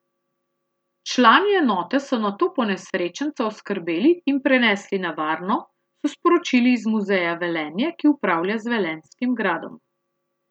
Člani enote so nato ponesrečenca oskrbeli in prenesli na varno, so sporočili iz Muzeja Velenje, ki upravlja z Velenjskim gradom.